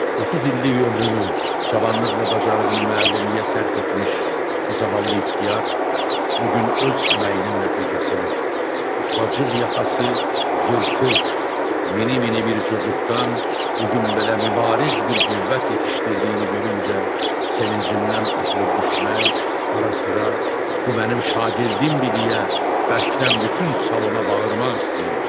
30 illik ömrünü, cavanlıq və bacarığını müəllimliyə sərf etmiş, bu zavallı ixtiyar bu gün öz əməyinin nəticəsini ufacıq yaxası yırtıq, mini mini bir cocuqdan bu gün belə mübariz bir qüvvət yetişdirdiyini görüncə, sevincindən atılıb düşmək, ara-sıra bu mənim şagirdimdir deyə bərkdən bütün salona bağırmaq istəyirdi.